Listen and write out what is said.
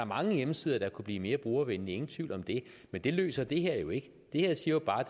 mange hjemmesider der kunne blive mere brugervenlige ingen tvivl om det men det løser det her jo ikke det her siger jo bare